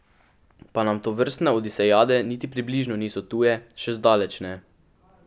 Pa nam tovrstne odisejade niti približno niso tuje, še zdaleč ne!